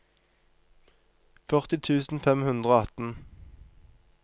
førti tusen fem hundre og atten